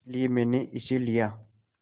इसलिए मैंने इसे लिया